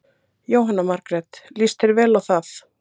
Jóhanna Margrét: Lýst þér vel á það?